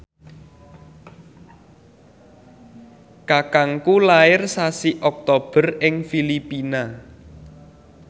kakangku lair sasi Oktober ing Filipina